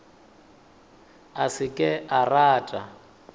a se ke a rata